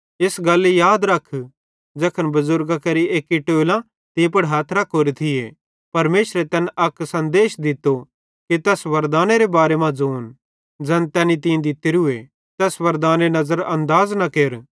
इस गल्ली याद रख ज़ैखन बुज़ुर्गां केरे एक्की टोलां तीं पुड़ हथ रखोरे थिये परमेशरे तैन अक सन्देश दित्तो कि तैस वरदानेरे बारे मां ज़ोन ज़ै तैने तीं दित्तोरी तैस वरदानेरे नज़र अनदाज़ न केर